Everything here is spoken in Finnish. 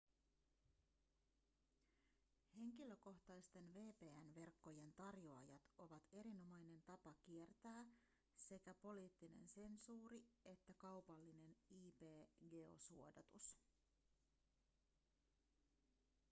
henkilökohtaisten vpn-verkkojen tarjoajat ovat erinomainen tapa kiertää sekä poliittinen sensuuri että kaupallinen ip-geosuodatus